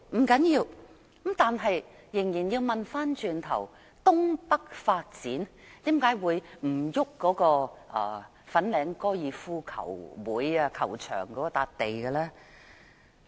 不要緊，但我們仍要問，東北發展為何可以不徵用粉嶺高爾夫球會球場的土地？